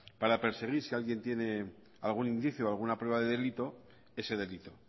para perseguir si alguien tiene algún indicio o alguna prueba de delito ese delito